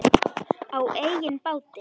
Á eigin báti.